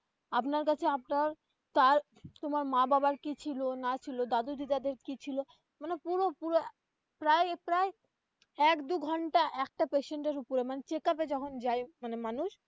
আপনার কাছে আপনার চায় তোমার মা বাবার কি ছিল না ছিল দাদু দিদাদের কি ছিল মানে পুরো পুরো প্রায় প্রায় এক দু ঘন্টা একটা patient এর ওপরে মানে check up এ যখন যায় মানে মানুষ.